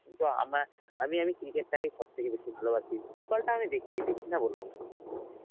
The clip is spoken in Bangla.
কিন্তু আমা~ আমি আমি cricket টাকেই সবথেকে বেশি ভালোবাসি, football টা আমি দেখি, দেখি না বলবো না.